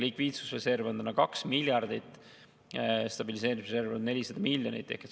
Likviidsusreserv on täna 2 miljardit, stabiliseerimisreserv on 400 miljonit.